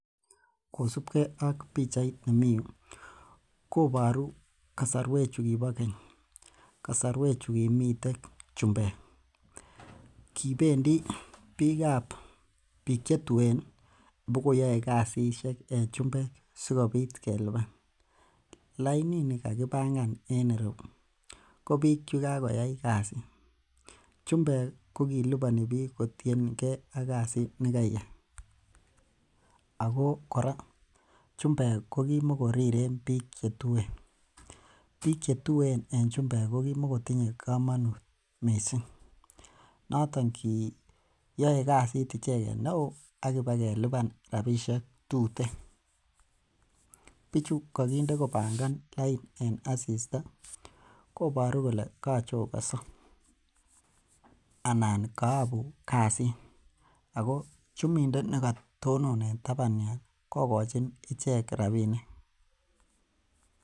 Kosipgee ak pichait nemii yuu koboru kasorwek chukibo keny, kasorwek chukimiten chumbek kibendii biikab biik chetuen ih bokoyoe kasisiek en chumbek sikobit kelipan, lainit ni kakibangan en ireu ko biik chekakoyai kasit. Chumbek kokiliponi biik kotiengei ak kasit nekeiyai ako kora chumbek kokimokoriren biik chetuen, biik chetuen en chumbek kokimokotinye komonut missing noton kiyoe kasit icheket neo akibalkeliban rapisiek tuten. Bichu kokinde kopangan lain en asista koboru kole kochokonso anan koyobu kasit ako chumindet nekatonon en taban yun kokochin ichek rapinik